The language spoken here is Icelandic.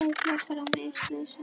Veikleikar og minnisleysi